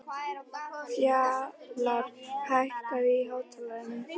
Fjalarr, hækkaðu í hátalaranum.